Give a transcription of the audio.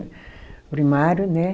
Primário, né?